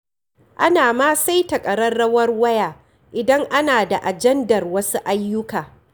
Ana ma saita ƙararrawar waya idan ana da ajandar wasu ayyuka.